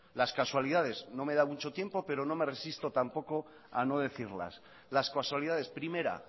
las casualidades no me da tampoco mucho tiempo pero no me resisto tampoco a no decirlas las casualidades primera